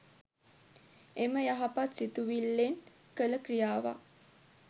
එම යහපත් සිතුවිල්ලෙන් කළ ක්‍රියාවක්